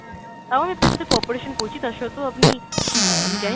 তাও আমি আপনার সাথে cooperation করছি, তার সত্বেও আপনি অ্যাঁ আমি জানিনা